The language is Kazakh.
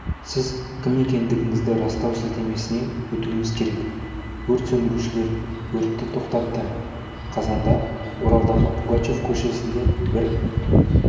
сіз кім екендігіңізді растау сілтемесіне өтуіңіз керек өрт сөндірушілер өртті тоқтатты қазанда оралдағы пугачев көшесінде бір